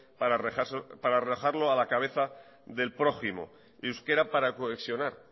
para rebajarlo a la cabeza del prójimo euskera para cohesionar